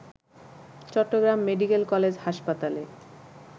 Chittagong medical college হাসপাতালে